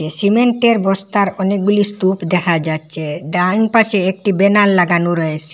সিমেন্টের বস্তার অনেকগুলি স্তূপ দেখা যাচচে ডানপাশে একটি বেনার লাগানো রয়েসে।